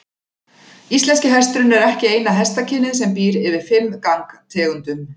Íslenski hesturinn er ekki eina hestakynið sem býr yfir fimm gangtegundum.